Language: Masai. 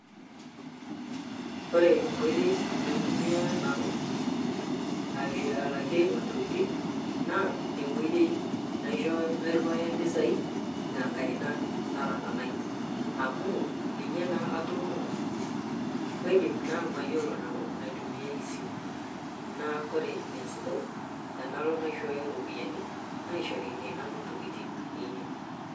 Ore enkoitoi naitumia nanu alakie intokitin naa enkoitoi nairriwaa impisai te nkaina nara enaai amu ninye naa atamoo. Kaidim nanu naa mayiolo aitumiyaiai esimu naa ore esidai naa tenalo aishooyo iropiyiani naishori nanu intokitin.